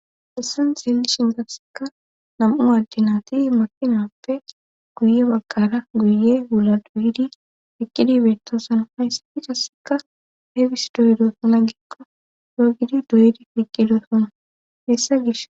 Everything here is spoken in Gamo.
hessan xeelishin gasseka nam7u adinaati makinappe guye baggara guye wula duuyidi piqqidi beettoosan hayssi fikasseka hefis doyidoso na gikko yoogidi doydi piqqidosona hessa gish